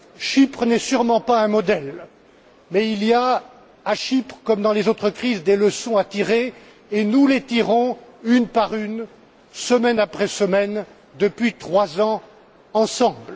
Chypre n'est sûrement pas un modèle mais il y a, à Chypre comme dans les autres crises, des leçons à tirer et nous les tirons une par une, semaine après semaine, depuis trois ans, ensemble.